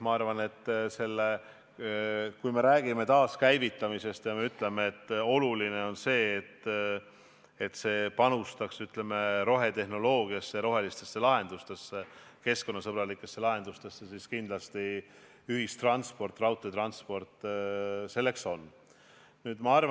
Ma arvan, et kui me räägime taaskäivitamisest ja ütleme, et oluline on see, et see panustaks rohetehnoloogiasse ja rohelistesse, keskkonnasõbralikesse lahendustesse, siis ühistransport, sh raudteetransport kindlasti seda on.